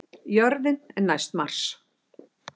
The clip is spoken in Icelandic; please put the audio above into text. Jörðin er næst Mars!